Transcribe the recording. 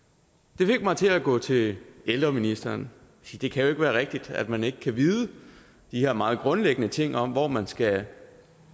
det fik mig til at gå til ældreministeren thi det kan jo ikke være rigtigt at man ikke kan vide de her meget grundlæggende ting om hvor man skal